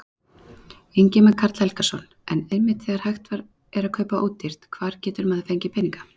Ingimar Karl Helgason: En einmitt þegar hægt er kaupa ódýrt, hvar getur maður fengið peninga?